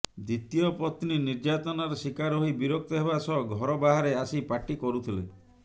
ଦ୍ୱିତୀୟ ପତ୍ନୀ ନିର୍ଯ୍ୟାତନାର ଶିକାର ହୋଇ ବିରକ୍ତ ହେବା ସହ ଘର ବାହାରେ ଆସି ପାଟି କରୁଥିଲେ